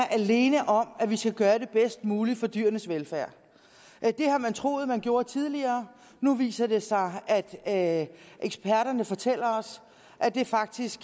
alene om at vi skal gøre det bedst muligt for dyrenes velfærd det har man troet at man gjorde tidligere nu viser det sig at eksperterne fortæller os at det faktisk